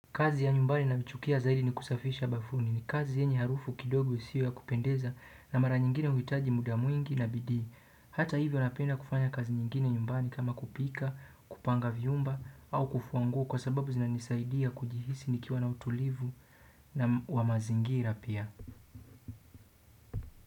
Kazi ya nyumbani nayochukia zaidi ni kusafisha bafuni ni kazi yenye harufu kidogo isio ya kupendeza na mara nyingine huitaji muda mwingi na bidii. Hata hivyo napenda kufanya kazi nyingine nyumbani kama kupika, kupanga vyumba au kufua nguo kwa sababu zinanisaidia kujihisi nikiwa na utulivu na wa mazingira pia.